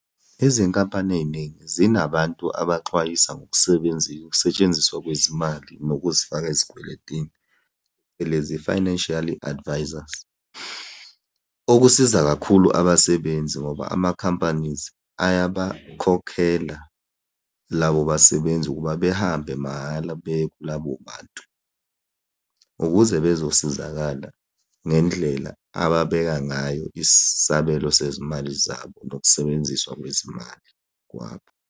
Izinkampani ey'ningi zinabantu abaxwayisa ukusetshenziswa kwezimali nokuzifaka ezikweletini phecelezi, financially advisors. Okusiza kakhulu abasebenzi ngoba ama-companies ayabakhokhela labo basebenzi ukuba behambe mahhala beye kulabo bantu ukuze bezosizakala ngendlela ababeka ngayo isabelo sezimali zabo, nokusebenziswa kwezimali kwabo.